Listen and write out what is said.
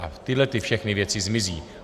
A tyhle všechny věci zmizí.